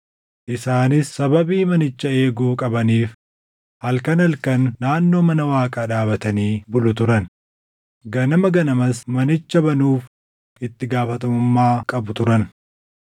Isaanis sababii manicha eeguu qabaniif halkan halkan naannoo mana Waaqaa dhaabatanii bulu turan; ganama ganamas manicha banuuf itti gaafatamummaa qabu turan.